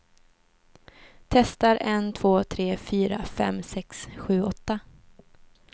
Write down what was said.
Testar en två tre fyra fem sex sju åtta.